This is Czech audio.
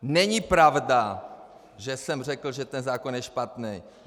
Není pravda, že jsem řekl, že ten zákon je špatnej!